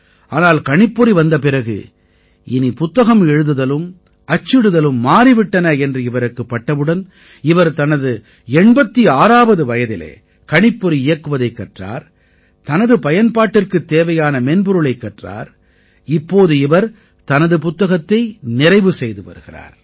ஆனால் கணிப்பொறி வந்த பிறகு இனி புத்தகம் எழுதுதலும் அச்சிடுதலும் மாறி விட்டன என்று இவருக்குப் பட்டவுடன் இவர் தனது 86ஆவது வயதில் கணிப்பொறி இயக்குவதைக் கற்றார் தனது பயன்பாட்டிற்குத் தேவையான மென்பொருளைக் கற்றார் இப்போது இவர் தனது புத்தகத்தை நிறைவு செய்து வருகிறார்